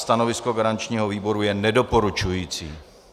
Stanovisko garančního výboru je nedoporučující.